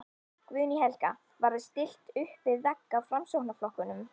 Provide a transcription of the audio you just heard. Guðný Helga: Var þér stillt uppvið vegg af Framsóknarflokknum?